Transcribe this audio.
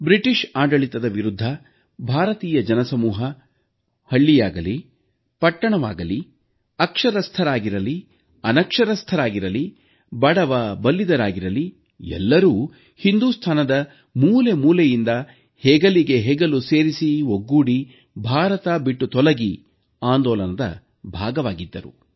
British ಆಡಳಿತದ ವಿರುದ್ಧ ಭಾರತೀಯ ಜನಸಮೂಹ ಹಳ್ಳಿಯಾಗಲಿ ಪಟ್ಟಣವಾಗಲಿ ಅಕ್ಷರಸ್ಥರಾಗಿರಲಿ ಅನಕ್ಷರಸ್ಥರಾಗಿರಲಿ ಬಡವ ಬಲ್ಲಿದರಾಗಿರಲಿ ಎಲ್ಲರೂ ಹಿಂದೂಸ್ತಾನದ ಮೂಲೆ ಮೂಲೆಯಿಂದ ಹೆಗಲಿಗೆ ಹೆಗಲು ಸೇರಿಸಿ ಒಗ್ಗೂಡಿ ಭಾರತ ಬಿಟ್ಟು ತೊಲಗಿ ಆಂದೋಲನದ ಭಾಗವಾಗಿದ್ದರು